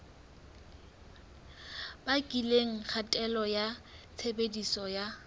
bakileng kgatello ya tshebediso ya